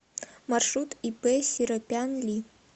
маршрут ип серопян ли